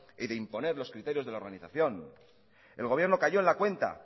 y de imponer los criterios de la organización el gobierno cayó en la cuenta